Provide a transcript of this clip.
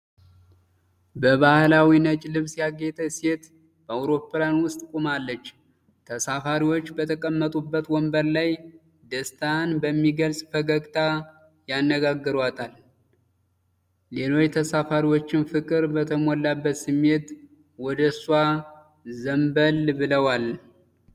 በባሕላዊ ነጭ ልብስ ያጌጠች ሴት በአውሮፕላን ውስጥ ቆማለች። ተሳፋሪዎች በተቀመጡበት ወንበር ላይ ደስታን በሚገልጽ ፈገግታ ያነጋገሯታል፤ ሌሎች ተሳፋሪዎችም ፍቅር በተሞላበት ስሜት ወደሷ ዘንበል ብለዋል።